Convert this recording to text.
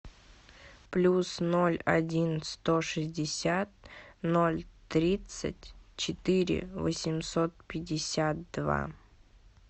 плюс ноль один сто шестьдесят ноль тридцать четыре восемьсот пятьдесят два